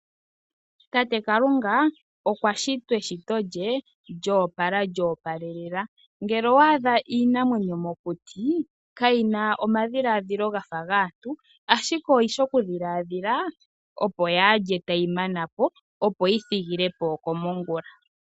Tate Kalunga okwa shita eshito lye lyo opala lyo opalelela. Ngele owa adha iinamwenyo mokuti, kayi na omadhilaadhilo ga fa gaantu ashike oyi shi okudhilaadhila, opo kaayi lye tayi mana po, opo yi thige po iikulya yomongula.